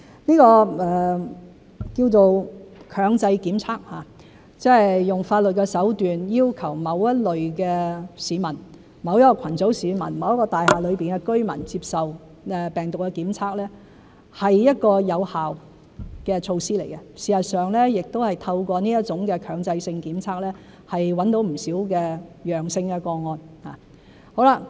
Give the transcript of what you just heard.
這個稱為強制檢測的行動，即是用法律的手段要求某一類市民、某一個群組的市民、某一座大廈內的居民接受病毒檢測，是一個有效的措施，事實上亦透過這種強制性檢測找到不少陽性個案。